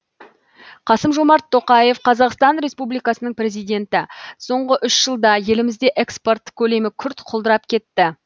қасым жомарт тоқаев қазақстан республикасының президенті соңғы үш жылда елімізде экспорт көлемі күрт құлдырап кетті